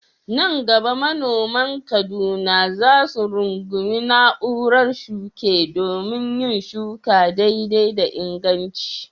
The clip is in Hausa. Nan gaba manoman Kaduna za su rungumi na'urar shuke domin yin shuka daidai da inganci.